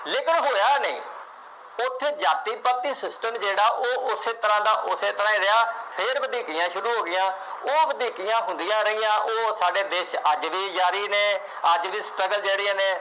ਉੱਥੇ ਜਾਤੀ ਪਾਤੀ system ਜਿਹੜਾ ਉਹ ਉਸੇ ਤਰ੍ਹਾਂ ਦਾ ਉਸੇ ਤਰ੍ਹਾਂ ਹੀ ਰਿਹਾ, ਫੇਰ ਵਧੀਕੀਆ ਸ਼ੁਰੂ ਹੋ ਗਈਆਂ, ਉਹ ਵਧੀਕੀਆਂ ਹੁੰਦੀਆਂ ਰਹੀਆਂ, ਉਹ ਸਾਡੇ ਦੇਸ਼ ਵਿੱਚ ਅੱਜ ਵੀ ਜਾਰੀ ਨੇ, ਅੱਜ ਵੀ struggle ਜਿਹੜੀਆਂ ਨੇ